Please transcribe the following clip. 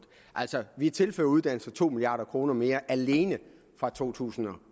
vi tilfører uddannelser to milliard kroner mere alene fra to tusind